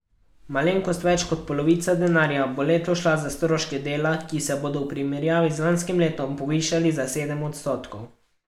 Malenkost več kot polovica denarja bo letos šla za stroške dela, ki se bodo v primerjavi z lanskim letom povišali za sedem odstotkov.